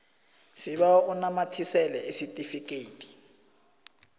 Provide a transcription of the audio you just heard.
sibawa unamathisele isitifikedi